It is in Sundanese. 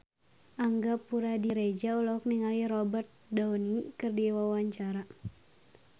Angga Puradiredja olohok ningali Robert Downey keur diwawancara